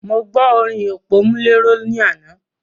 Mo gbo orin òpómúléró ní àná.